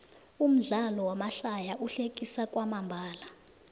umdlalo wamahlaya uhlekisa kwamambalo